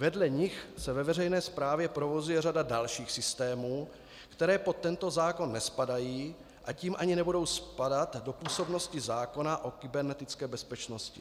Vedle nich se ve veřejné správě provozuje řada dalších systémů, které pod tento zákon nespadají, a tím ani nebudou spadat do působnosti zákona o kybernetické bezpečnosti.